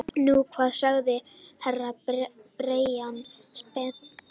Nú hvað sagði Herra Brian spenntur.